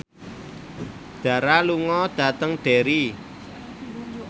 Dara lunga dhateng Derry